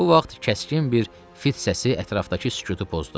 Bu vaxt kəskin bir fit səsi ətrafdakı sükutu pozdu.